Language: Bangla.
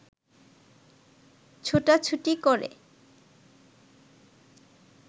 ছোটাছুটি করে